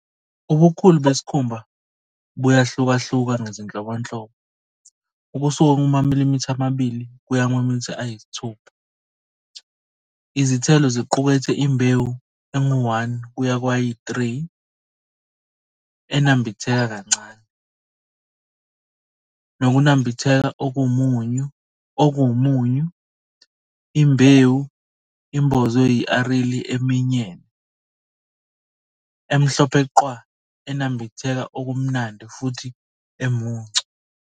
Ubukhulu besikhumba buyahlukahluka ngezinhlobonhlobo, ukusuka kumamilimitha amabili kuya kumamilimitha ayi-6. Izithelo ziqukethe imbewu engu-1 kuye kwayi-3, enambitheka kancane, nokunambitha okumunyu, imbewu imbozwe yi-aril eminyene, emhlophe qhwa enambitheka okumnandi futhi omuncu.